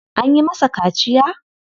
An yi masa kaciya?